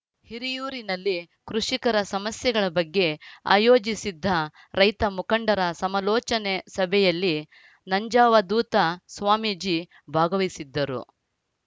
ಹಿರಿಯೂರಿನಲ್ಲಿ ಕೃಷಿಕರ ಸಮಸ್ಯೆಗಳ ಬಗ್ಗೆ ಆಯೋಜಿಸಿದ್ದ ರೈತ ಮುಖಂಡರ ಸಮಲೋಚನೆ ಸಭೆಯಲ್ಲಿ ನಂಜಾವಧೂತ ಸ್ವಾಮೀಜಿ ಭಾಗವಹಿಸಿದ್ದರು